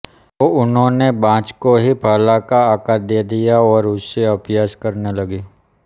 तो उन्होंने बाँस को ही भाला का आकार दे दिया और उससे अभ्यास करने लगीं